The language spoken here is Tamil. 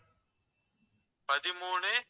பதிமூணு